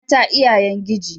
Mata iyayen giji.